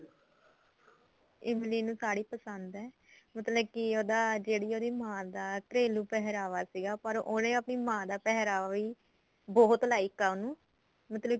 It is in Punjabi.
ਇਮਲੀ ਨੂੰ ਸਾੜੀ ਪਸੰਦ ਏ ਮਤਲਬ ਕੀ ਉਹਦਾ ਜਿਹੜੀ ਉਹਦੀ ਮਾਂ ਦਾ ਘਰੇਲੂ ਪਹਿਰਾਵਾ ਸੀਗਾ ਉਹਨੇ ਆਪਣੀ ਮਾਂ ਦਾ ਪਹਿਰਾਵਾ ਵੀ ਬਹੁਤ like ਏ ਉਹਨੂੰ ਮਤਲਬ ਕੀ